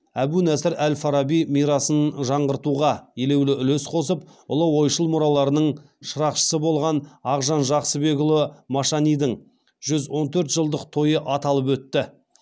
әбу насыр әл фараби мирасын жаңғыртуға елеулі үлес қосып ұлы ойшыл мұраларының шырақшысы болған ақжан жақсыбекұлы машанидің жүз он төрт жылдық тойы аталып өтті